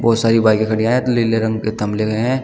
बहुत सारी बाईके खड़ी है लीले रंग के थमले मे लगे है।